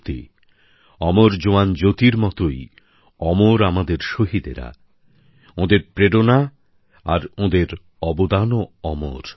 সত্যিই অমর জওয়ান জ্যোতির মতই অমর আমাদের শহীদরা ওঁদের প্রেরণা আর ওঁদের অবদানও অমর